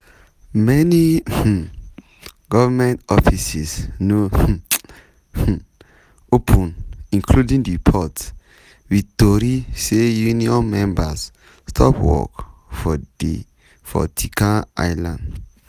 many um goment offices no um um open including di port wit tori say union members stop work for tincan island.